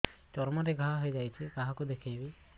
ଚର୍ମ ରେ ଘା ହୋଇଯାଇଛି କାହାକୁ ଦେଖେଇବି